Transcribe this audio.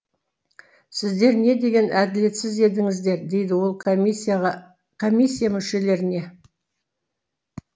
сіздер не деген әділетсіз едіңіздер дейді ол комиссия мүшелеріне